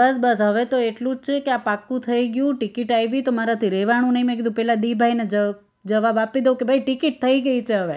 બસ બસ હવે તો એટલું જ છે કે આ પાકું થઇ ગયું ticket આઈ ભી તો મારાથી રેવાણું નહી મેં કીધું પેલા દિભાઈ ને જ જવાબ આપી દવ કે ભાઈ ticket થઇ ગઈ છે હવે